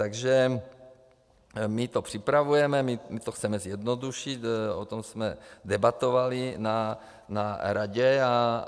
Takže my to připravujeme, my to chceme zjednodušit, o tom jsme debatovali na radě.